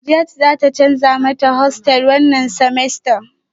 Kadiaj zata canza mata hostel wannan semester